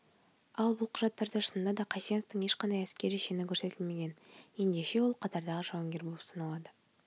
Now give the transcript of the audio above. ал бұл құжаттарда шынында да қайсеновтің ешқандай әскери шені көрсетілмеген ендеше ол қатардағы жауынгер болып саналады